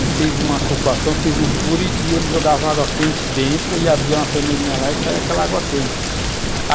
e fez uma ocupação, fez uns furos e e ele jogava água quente dentro e abria uma torneirinha lá e saía aquela água quente.